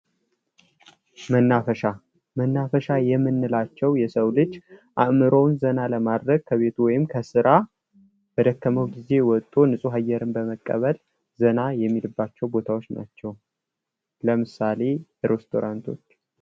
መናፈሻ መናፈሻ የምንላቸው የሰው ልጅ አእምሮውን ዘና ለድረግ ከቤት ወይም ከስራ በደከመው ጊዜ ወቶ ንፁህ አየር በመቀበል ዘና የሚልባቸው ቦታዎች ናቸው። ለምሳሌ ሬስቶራንቶች።